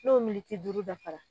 N'o miniti duuru dafara.